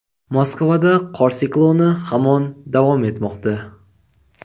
Moskvada qor sikloni hamon davom etmoqda.